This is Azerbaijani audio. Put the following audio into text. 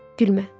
Gülmə.